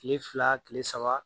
Kile fila kile saba